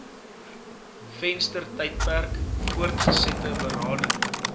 venstertydperk voortgesette berading